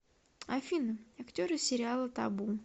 афина актеры сериала табу